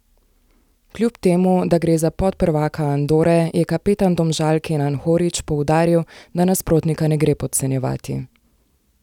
Kljub temu, da gre za podprvaka Andore, je kapetan Domžal Kenan Horić poudaril, da nasprotnika ne gre podcenjevati.